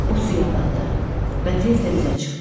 O suya batdı və tez də üzə çıxdı.